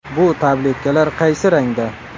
Bu tabletkalar qaysi rangda?.